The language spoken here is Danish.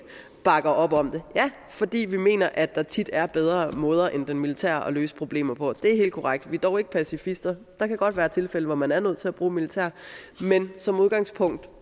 bakker op om det fordi vi mener at der tit er bedre måder end den militære at løse problemer på det er helt korrekt vi er dog ikke pacifister der kan godt være tilfælde hvor man er nødt til at bruge militæret men som udgangspunkt